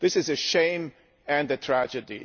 This is a shame and a tragedy.